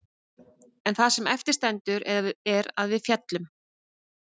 En það sem eftir stendur er að við féllum.